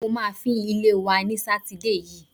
Mo máa fín ilé wa ní Sátidé yìí.